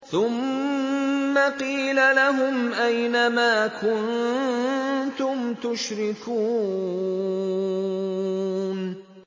ثُمَّ قِيلَ لَهُمْ أَيْنَ مَا كُنتُمْ تُشْرِكُونَ